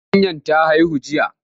Zakanyar ta haihu jiya.